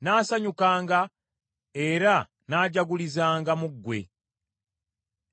Nnaasanyukanga era nnaajagulizanga mu ggwe.